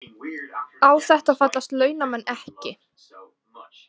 Á þetta fallast launamenn ekki